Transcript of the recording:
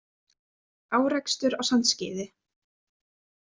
Árekstur á Sandskeiði